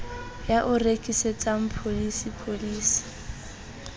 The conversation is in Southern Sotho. ya o rekisetsang pholisi pholisi